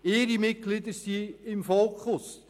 Ihre Mitglieder sind im Fokus.